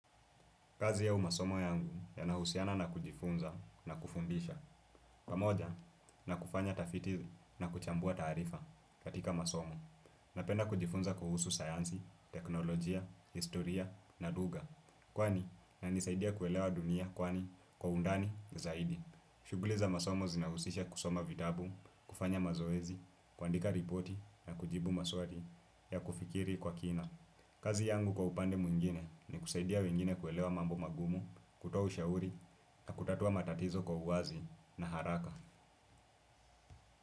Kazi ya au masomo yangu yanahusiana na kujifunza na kufundisha pamoja na kufanya tafiti na kuchambua taarifa katika masomo. Napenda kujifunza kuhusu sayanzi, teknolojia, historia na lugha kwani inanisaidia kuelewa dunia kwani kwa undani zaidi. Shuguli za masomo zinahusisha kusoma vitabu, kufanya mazoezi, kuandika ripoti na kujibu maswali ya kufikiri kwa kina. Kazi yangu kwa upande mwingine ni kusaidia wengine kuelewa mambo magumu, kutoa ushauri na kutatua matatizo kwa uwazi na haraka.